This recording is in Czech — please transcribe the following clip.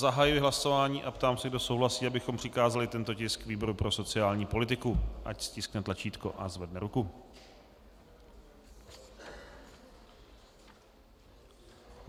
Zahajuji hlasování a ptám se, kdo souhlasí, abychom přikázali tento tisk výboru pro sociální politiku, ať stiskne tlačítko a zvedne ruku.